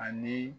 Ani